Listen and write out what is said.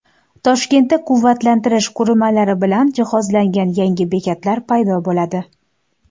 Toshkentda quvvatlantirish qurilmalari bilan jihozlangan yangi bekatlar paydo bo‘ladi.